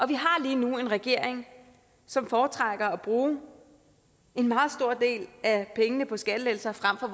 vi har lige nu en regering som foretrækker at bruge en meget stor del af pengene på skattelettelser frem for